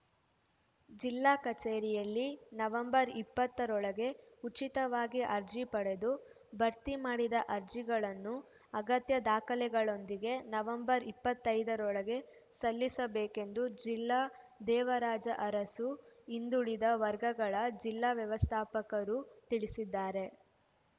ಜಿಲ್ಲಾ ಕಚೇರಿಯಲ್ಲಿ ನವೆಂಬರ್ ಇಪ್ಪತ್ತರೊಳಗೆ ಉಚಿತವಾಗಿ ಅರ್ಜಿ ಪಡೆದು ಭರ್ತಿ ಮಾಡಿದ ಅರ್ಜಿಗಳನ್ನು ಅಗತ್ಯ ದಾಖಲೆಗಳೊಂದಿಗೆನವೆಂಬರ್ ಇಪ್ಪತ್ತರೊಳಗೆ ಸಲ್ಲಿಸಬೇಕೆಂದು ಜಿಲ್ಲಾ ದೇವರಾಜ ಅರಸು ಹಿಂದುಳಿದ ವರ್ಗಗಳ ಜಿಲ್ಲಾ ವ್ಯವಸ್ಥಾಪಕರು ತಿಳಿಸಿದ್ದಾರೆ